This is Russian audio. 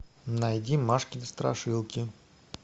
найди машкины страшилки